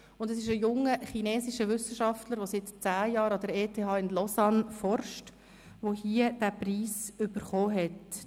Es ist mit Xile Hu ein junger chinesischer Wissenschaftler, der seit zehn Jahren an der ETH in Lausanne forscht, der diesen Preis bekommen hat.